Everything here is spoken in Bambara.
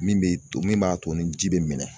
Min bɛ to min b'a to ni ji bɛ minɛ.